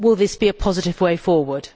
Will this be a positive way forward?